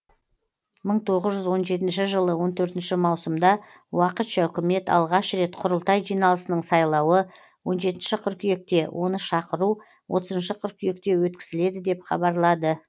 мың тоғыз жүз он жетінші жылы он төртінші маусымда уақытша үкіметалғаш рет құрылтай жиналысының сайлауы он жетінші қыркүйекте оны шақыру отызыншы қыркүйекте өткізіледі деп хабарлады